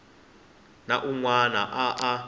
na un wana a a